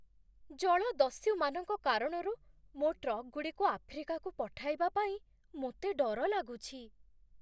ଜଳଦସ୍ୟୁମାନଙ୍କ କାରଣରୁ ମୋ ଆଫ୍ରିକାକୁ ଟ୍ରକ୍‌ଗୁଡ଼ିକୁ ପଠାଇବା ପାଇଁ ମୋତେ ଡର ଲାଗୁଛି।